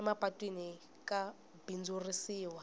emapatwini ka bindzurisiwa